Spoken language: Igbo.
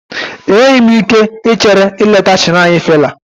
Enweghị m ike ichere ileta shiraini Fela